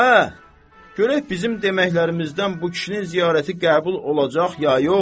Aə, görək bizim deməklərimizdən bu kişinin ziyarəti qəbul olacaq, ya yox?